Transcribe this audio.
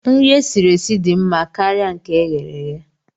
Nri e siri esi dị mma karịa nke eghere eghe.